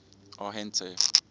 arhente